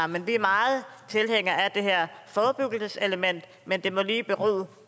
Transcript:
men vi er meget tilhængere af det her forebyggelseselement men det må lige bero